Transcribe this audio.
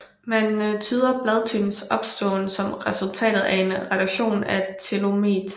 Man tyder bladtypens opståen som resultatet af en reduktion af telomet